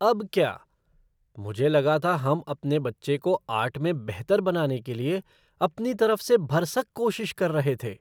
अब क्या? मुझे लगा था हम अपने बच्चे को आर्ट में बेहतर बनाने के लिए अपनी तरफ से भरसक कोशिश कर रहे थे।